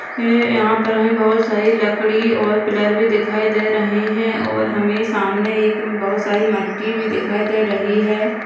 ए यहां पर हमे बहुत सारी लकड़ी और पिलर भी दिखाई दे रहे है और हमे सामने एक बहुत सारी मट्टी भी दिखाई दे रही है।